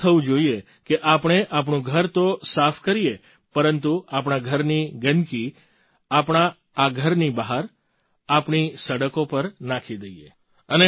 એવું ન થવું જોઈએ કે આપણે આપણું ઘર તો સાફ કરીએ પરંતુ આપણા ઘરની ગંદગી આપણા ઘરની બહાર આપણી સડકો પર નાખી દઈએ